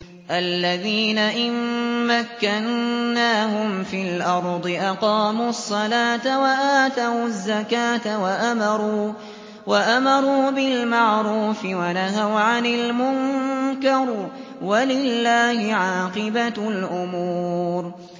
الَّذِينَ إِن مَّكَّنَّاهُمْ فِي الْأَرْضِ أَقَامُوا الصَّلَاةَ وَآتَوُا الزَّكَاةَ وَأَمَرُوا بِالْمَعْرُوفِ وَنَهَوْا عَنِ الْمُنكَرِ ۗ وَلِلَّهِ عَاقِبَةُ الْأُمُورِ